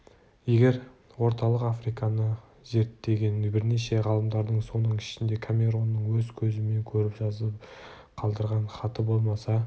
егер орталық африканы зерттеген бірнеше ғалымдардың соның ішінде камеронның өз көзімен көріп жазып қалдырған хаты болмаса